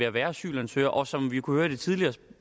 at være asylansøger og som vi kunne høre i det tidligere